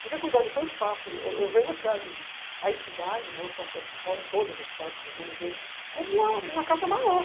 Se você cuidar do teu espaço, eu vejo as cidades, não só a cidade de São Paulo, todas as cidades do mundo inteiro, como uma casa maior.